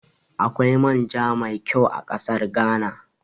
Akwai man ja mai ƙyau a ƙasar Ghana